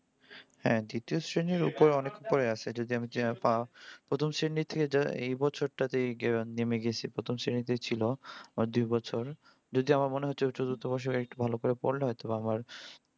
হ্যাঁ detail শ্রেণীর অনেক উপরে আছে। যদি আমি প্রথম শ্রেনি থেকে এই বছরটাই নেমে গেছি । প্রথম শ্রেনিতে ছিল আর দুই বছর। যদিও আমার মনে হইছে চতুর্থ বর্ষে একটু ভালো করে পড়লে হয়ত তো আমার